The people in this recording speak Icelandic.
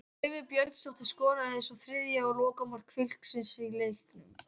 Laufey Björnsdóttir skoraði svo þriðja og lokamark Fylkis í leiknum.